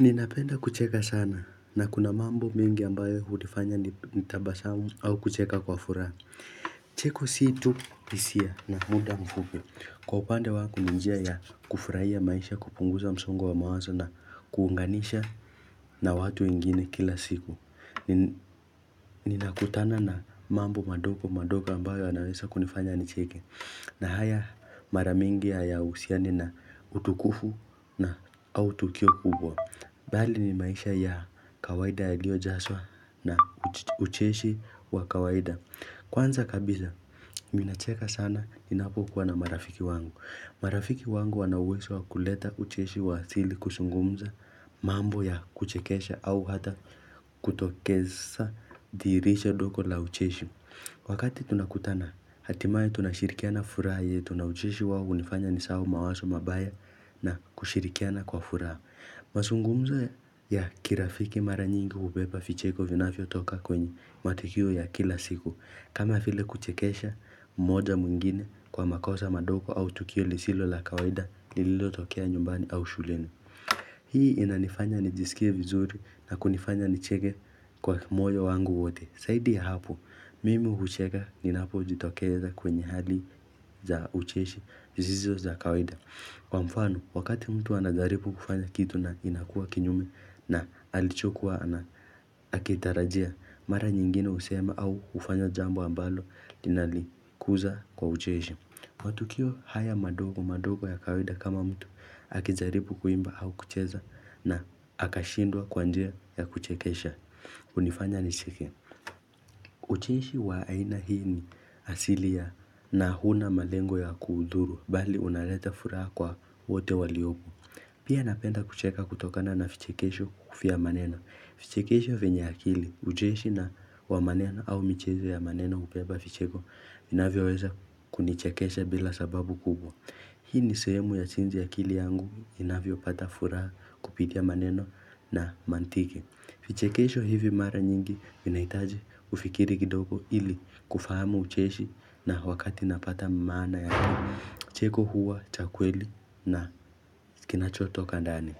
Ninapenda kucheka sana na kuna mambo mengi ambayo hunifanya nitabasamu au kucheka kwa furaha. Cheko si tu hisia na muda mfupi. Kwa upande wangu ninjia ya kufurahia maisha kupunguza msongo wa mawazo na kuunganisha na watu wengine kila siku. Ninakutana na mambo madogo madogo ambayo anaweza kunifanya nicheke. Na haya mara mingi ya usiani na utukufu na autukio kubwa. Bali ni maisha ya kawaida ya lio jaswa na ucheshi wa kawaida. Kwanza kabisa, ninacheka sana inapokuwa na marafiki wangu. Marafiki wangu wanauwezo kuleta ucheshi wa asili kuzungumza, mambo ya kuchekesha au hata kutokesha diricha dogo la ucheshi. Wakati tunakutana, hatimaye tunashirikiana furaha yetu na ucheshi wao unifanya nisahau mawaso mabaya na kushirikiana kwa furaha. Mazungumza ya kirafiki mara nyingi kubepa vicheko vinafyo toka kwenye matikio ya kila siku kama vile kuchekesha mmoja mwingine kwa makosa madogo au tukio lisilo la kawaida nililo tokea nyumbani au shuleni Hii inanifanya nijisikie vizuri na kunifanya nicheke kwa moyo wangu wote. Zaidi ya hapo, mimi hucheka ninapo jitokeza kwenye hali za ucheshi sizizo za kawaida kwa mfano, wakati mtu anajaribu kufanya kitu na inakuwa kinyume na alichokuwa na akitarajia, mara nyingine husema au ufanya jambo ambalo linalikuza kwa ucheshi. Matukio haya madogo madogo ya kawaida kama mtu akijazaribu kuimba au kucheza na akashindwa kwa njia ya kuchekesha. Unifanya ni chike. Uchinishi wa aina hii ni asilia na huna malengo ya kuhuduru bali unaleta furaha kwa wote waliobu. Pia napenda kucheka kutokana na vichekesho vya maneno. Vichekesho vinye akili ucheshi na wa maneno au michezo ya maneno ubeba vicheko inavyo weza kunichekesha bila sababu kubwa. Hii ni sehemu ya chinji ya kili yangu inavyo pata furaha kupitia maneno na mantiki. Vichekesho hivi mara nyingi vinahitaji ufikiri kidogo ili kufahamu ucheshi na wakati napata maana ya cheko huwa cha kweli na kinachoto kandani.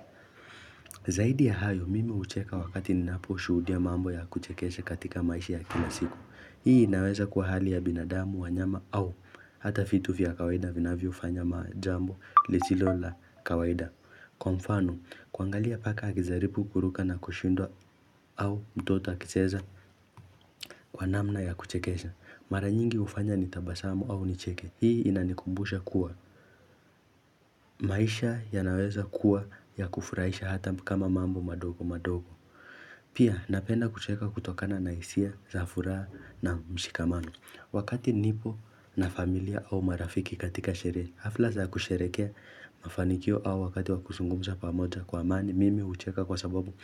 Zaidi ya hayo mime ucheka wakati ninapo shudia mambo ya kuchekeshe katika maishi ya kinasiku. Hii inaweza kwa hali ya binadamu, wanyama au hata vitu vya kawaida vinavyofanya jambo lisilo la kawaida. Kwa mfano, kuangalia paka akizaribu kuruka na kushindwa au mtoto akicheza kwa namna ya kuchekesha. Mara nyingi hufanya nitabasamu au nicheke. Hii inanikumbusha kuwa. Maisha ya naweza kuwa ya kufurahisha hata kama mambo madogo madogo. Pia napenda kucheka kutokana na hisia, zafuraha na mshikamamo. Wakati nipo na familia au marafiki katika sherehe, hafla za kusherekea mafanikio au wakati wakusungumza pamoja kwa amani, mimi hucheka kwa sababu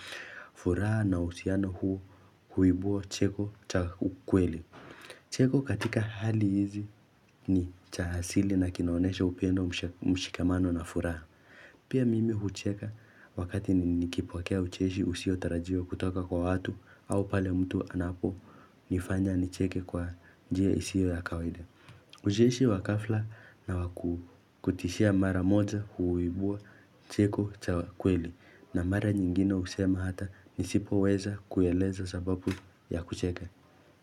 furaha na husiano huo kuibuo cheko cha ukwele. Cheko katika hali hizi ni cha hasili na kinaonesha upendo mshikamano na furaha. Pia mimi ucheka wakati nikipokea ucheshi husio tarajiwa kutoka kwa watu au pale mtu anapo nifanya nicheke kwa njia isio ya kawaida. Ujieshi wakafla na wakutishia mara moja huwibua cheko cha kweli na mara nyingine usema hata nisipoweza kueleza sababu ya kucheka.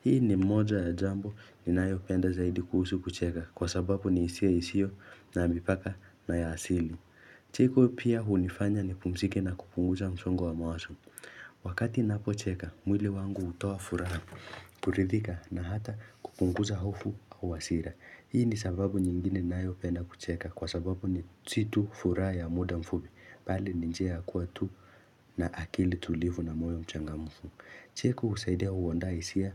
Hii ni moja ya jambo ni nayopenda zaidi kuhusu kucheka kwa sababu ni isia isio na ambipaka na ya asili. Cheko pia hunifanya ni kumzike na kupunguza msongo wa mawazo. Wakati ninapocheka, mwili wangu utoa furaha kuridhika na hata kukunguza hofu au wasira Hii ni sababu nyingine nayopenda kucheka, kwa sababu ni situ furaha ya muda mfufi mbali ni njia kuwa tu na akili tulivu na moyo mchangamufu. Cheko usaidia uwonda isia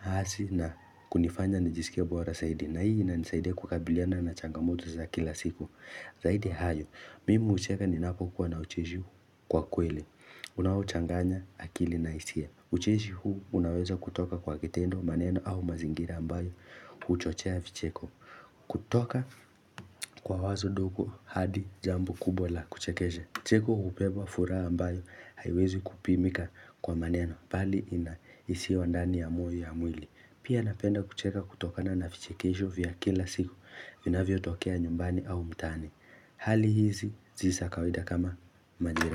hazi na kunifanya nijisikia bora saidi na hii na nisaidia kukabiliana na changamoto za kila siku. Zaidi hayo, mimi hucheka ninapo kukua na ucheshi kwa kweli Unauchanganya akili na hisia ucheshi huu unaweza kutoka kwa kitendo maneno au mazingira ambayo huchochea vicheko kutoka kwa wazo dogo hadi jambo kubwa la kuchekesha. Cheko hubeba furaha ambayo haiwezi kupimika kwa maneno bali inahisiwa ndani ya mwili. Pia napenda kucheka kutoka na na vichekisho vya kila siku vinavyotokea nyumbani au mtaani Hali hizi si za kawida kama majira.